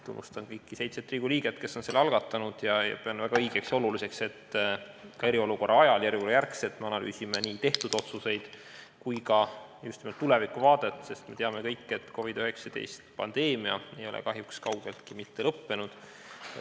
Tunnustan kõiki seitset Riigikogu liiget, kes on selle algatanud, ning pean väga õigeks ja oluliseks, et me eriolukorra ajal ja selle järel analüüsime nii tehtud otsuseid kui ka just nimelt tulevikuvaadet, sest me kõik teame, et COVID-19 pandeemia ei ole kahjuks kaugeltki lõppenud.